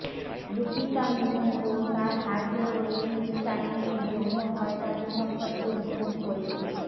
Lupita Nyong'o তার Harvey ওয়েইনস্টাইনের যৌন হয়রানি সম্পর্কে রিপোর্ট করেছে